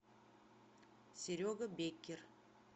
серега беккер